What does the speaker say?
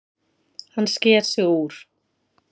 Hann sker sig úr.